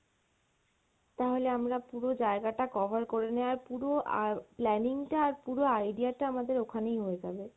তাহলে আমরা পুরো জায়গা টা cover করে নেওয়ার পুরো আহ planning টা আর পুরো idea টা আমাদের ওখানেই হয়ে যাবে।